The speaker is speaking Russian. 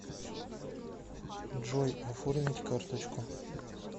джой оформить карточку